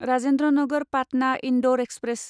Rajendra Nagar Patna Indore express